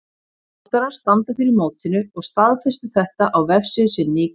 Þróttarar standa fyrir mótinu og staðfestu þetta á vefsíðu sinni í gær.